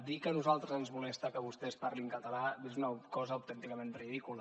dir que a nosaltres ens molesta que vostès parlin català és una cosa autènticament ridícula